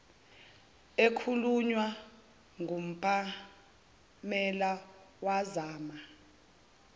ekhulunywa ngupamela wazama